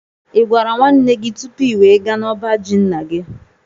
i gwara nwanne gị tụpụ i wee gaa na ọbá jị ńnà gị?